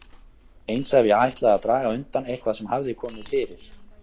Eins ef ég ætlaði að draga undan eitthvað sem hafði komið fyrir.